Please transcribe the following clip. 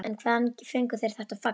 En hvaðan fengu þeir þetta fagn?